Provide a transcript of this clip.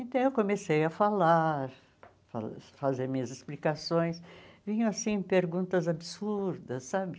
Então eu comecei a falar, fa fazer minhas explicações, vinham perguntas absurdas, sabe?